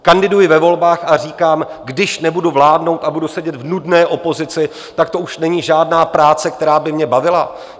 Kandiduji ve volbách a říkám - když nebudu vládnout a budu sedět v nudné opozici, tak to už není žádná práce, která by mě bavila?